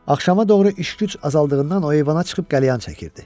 Axşama doğru iş-güc azaldığından o eyvana çıxıb qəlyan çəkirdi.